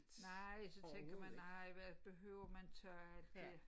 Nej og så tænker man nej hvad behøver man tage alt det